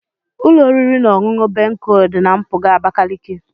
Ụlọ oriri na ọṅụṅụ Bencol dị na mpụga Abakaliki.